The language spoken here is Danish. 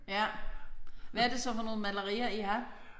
Ja. Hvad er det så for nogle malerier I har?